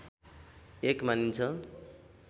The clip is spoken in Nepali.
एक मानिन्छ